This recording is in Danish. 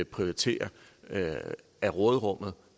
prioritere at tage af råderummet